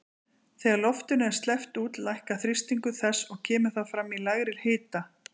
Þegar loftinu er sleppt út lækkar þrýstingur þess og kemur það fram í lægri hita.